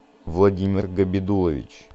владимир габидуллович